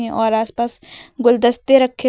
और आस पास गुलदस्ते रखे--